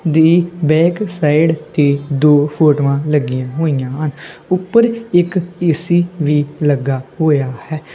ਦੀ back side ਤੇ ਦੋ ਫੋਟੋਆਂ ਲੱਗੀਆਂ ਹੋਈਆਂ ਹਨ ਉਪਰ ਇੱਕ ਏ_ਸੀ ਵੀ ਲੱਗਾ ਹੋਇਆ ਹੈ।